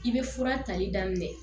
I bɛ fura tali daminɛ